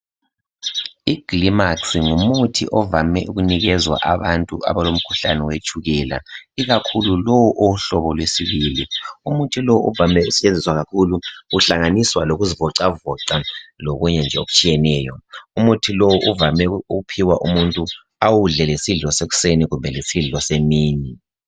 Igylmax ngumuthi ovame ukunikezwa abantu abantu abalomkhuhlane wetshukela. Ikakhulu lo owohlobo lwesibili. Umuthi lo uvame ukusetshenziswa kakhulu uhlangane lokuzivocavoca lokunye nje okuthiyeneyo. Umuthi lowu uvame kuphiwa umuntu awudle lesidlo sekuseni kumbe lesidlo semini